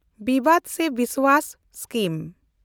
ᱵᱤᱵᱟᱰ ᱥᱮ ᱵᱤᱥᱣᱟᱥ ᱥᱠᱤᱢ